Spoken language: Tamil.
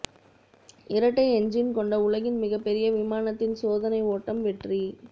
இரட்டை என்ஜின் கொண்ட உலகின் மிகப்பெரிய விமானத்தின் சோதனை ஓட்டம் வெற்றி